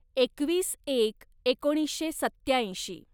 एकवीस एक एकोणीसशे सत्त्याऐंशी